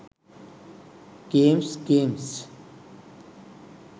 games games